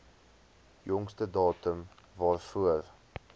jongste datum waarvoor